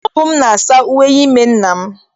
Ọ bụ m na-asa uwe ime nna m.